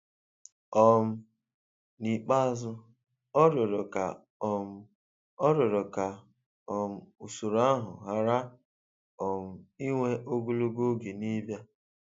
um N''ikpeazụ, ọ 'rịọrọ' ka um 'rịọrọ' ka um usoro ahụ ghara um iwe ogologo oge n'ịbịa.